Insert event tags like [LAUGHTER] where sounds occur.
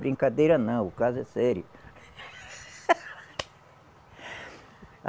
Brincadeira não, o caso é sério. [LAUGHS]